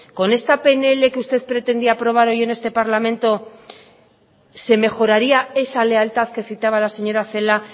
con esta pnl que usted pretendía aprobar hoy en este parlamento se mejoraría esa lealtad que citaba la señora celaá